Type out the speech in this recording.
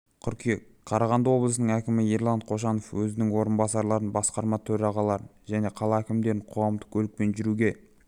қыркүйек қарағанды облысының әкімі ерлан қошанов өзінің орынбасарларын басқарма төрағаларын және қала әкімдерін қоғамдық көлікпен жүруге